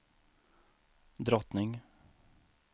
drottning